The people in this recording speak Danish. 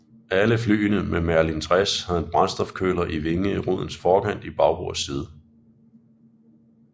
Alle flyene med Merlin 60 havde en brændstofkøler i vingerodens forkant i bagbords side